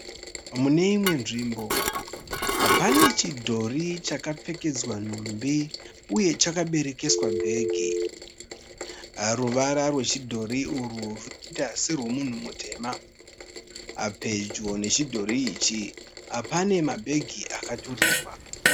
Mune imwe nzvimbo pane chidhori chakapfekedzwa nhumbi uye chakaberekeswa bhegi. Ruvara rwechidhori urwu runoita sorwemunhu mutema. Pedyo nechidhori ichi pane mabhegi akaturikwa.